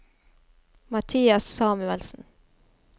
Mathias Samuelsen